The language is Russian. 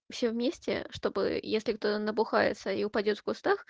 все вместе чтобы если кто-то набухается и упадёт в кустах